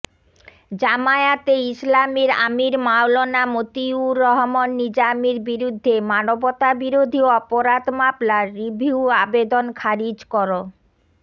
জামায়াতে ইসলামীর আমির মাওলানা মতিউর রহমান নিজামীর বিরুদ্ধে মানবতাবিরোধী অপরাধ মামলার রিভিউ আবেদন খারিজ কর